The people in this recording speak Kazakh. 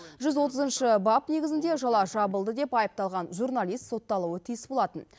жүз отызыншы бап негізінде жала жабылды деп айыпталған журналист сотталуы тиіс болатын